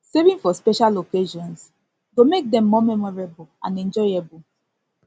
saving for special occasions go make dem more memorable and enjoyable